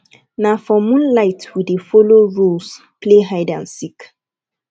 na for moonlight we dey folo rules play hide and seek